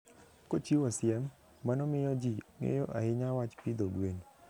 Kochiwo siem, mano miyo ji ng'eyo ahinya wach pidho gwen.